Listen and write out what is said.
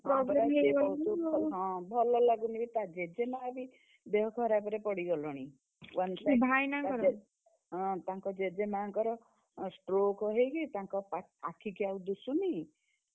ହଁ, ଭଲ ଲାଗୁନି ବି ତା ଜେଜେମା ବି, ଦେହ ଖରାପରେ ପଡିଗଲେଣି। One ହଁ, ତାଙ୍କ ଜେଜେମାଙ୍କର stroke ହେଇଛି ତାଙ୍କ, ଆଖିକୁ ଆଉ ଦୁସୁନି।